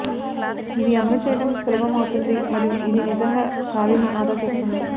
ఇది అమలు చేయడం సులభం అవుతుంది మరియు ఇది నిజంగా ఖాళీని ఆదా చేస్తుంది